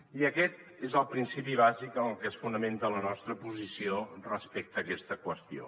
i aquest és el principi bàsic en el que es fonamenta la nostra posició respecte a aquesta qüestió